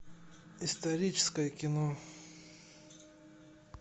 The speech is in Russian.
историческое кино